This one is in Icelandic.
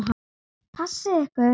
Passið ykkur.